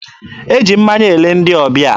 E ji mmanya ele ndị ọbịa.